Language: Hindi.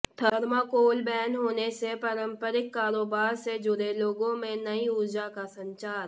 थर्माेकोल बैन होने से पारंपरिक कारोबार से जुड़े लोगों में नई ऊर्जा का संचार